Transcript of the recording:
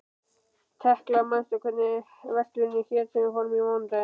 Tekla, manstu hvað verslunin hét sem við fórum í á mánudaginn?